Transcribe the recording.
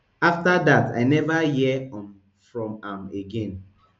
afta dat i never hear um from am again